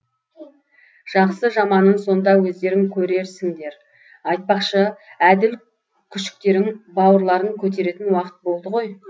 жақсы жаманын сонда өздерің көрерсіңдер айтпақшы әділ күшіктерің бауырларын көтеретін уақыт болды ғой